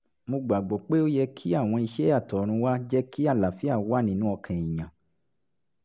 mo gbà gbọ́ pé ó yẹ kí àwọn iṣẹ́ àtọ̀runwá jẹ́ kí àlàáfíà wà nínú ọkàn èèyàn